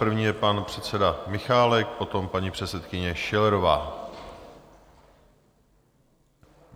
První je pan předseda Michálek, potom paní předsedkyně Schillerová.